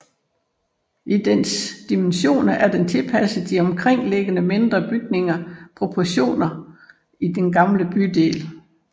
I dens dimensioner er den tilpasset de omkringliggende mindre bygningers proportioner i den gamle bydel